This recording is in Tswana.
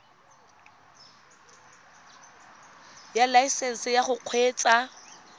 ya laesesnse ya go kgweetsa